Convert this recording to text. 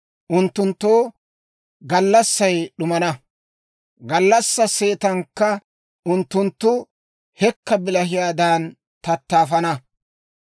Unttunttoo gallassay d'umana; gallassaa seetankka unttunttu hekka bilahiyaadan tattaafana.